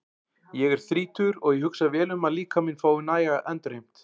Ég er þrítugur og ég hugsa vel um að líkaminn fái næga endurheimt.